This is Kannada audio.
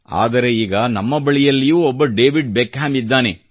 ಆದರೆ ಈಗ ನಮ್ಮ ಬಳಿಯಲ್ಲಿಯೂ ಒಬ್ಬ ಡೇವಿಡ್ ಬೆಕ್ಹ್ಯಾಮ್ ಇದ್ದಾನೆ